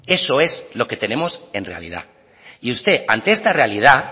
eso es lo que tenemos en realidad y usted ante esta realidad